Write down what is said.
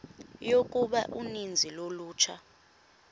yokuba uninzi lolutsha